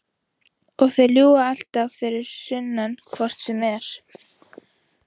Og þeir ljúga alltaf fyrir sunnan hvort sem er.